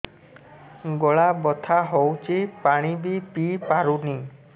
ଗଳା ବଥା ହଉଚି ପାଣି ବି ପିଇ ପାରୁନି